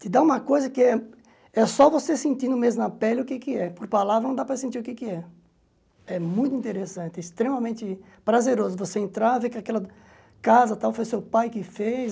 Te dá uma coisa que é é só você sentindo mesmo na pele o que é. Poque palavra, não dá para sentir o que é. É muito interessante, extremamente prazeroso você entrar, ver que aquela casa tal foi seu pai que fez.